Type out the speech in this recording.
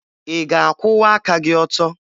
Ị ga-akwụwa aka gị ọtọ?